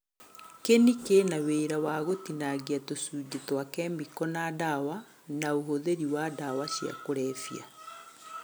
Kĩni kĩna wĩra wa gũtinangia tũcunjĩ twa kemiko na ndawa, na ũhũthĩri wa ndawa cia kũrebia